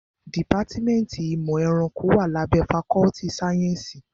Dìpátmẹ́ntì ìmọ̀ ẹranko wá lábẹ́ fakọ́ltì sáyẹ́nsì.